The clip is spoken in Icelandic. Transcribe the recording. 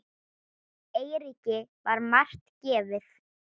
Eiríki var margt gefið.